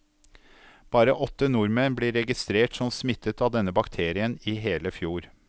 Bare åtte nordmenn ble registrert som smittet av denne bakterien i hele fjor.